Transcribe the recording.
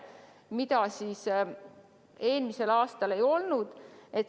Seda eelmisel aastal ei olnud.